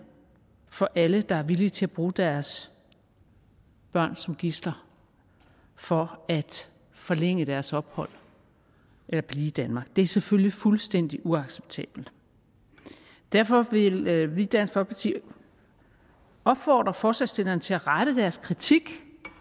for alle der er villige til at bruge deres børn som gidsler for at forlænge deres ophold eller blive i danmark det er selvfølgelig fuldstændig uacceptabelt derfor vil vil vi i dansk folkeparti opfordre forslagsstillerne til at rette deres kritik